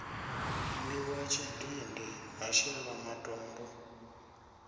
gwiwa tshidindi ha shelwa matombo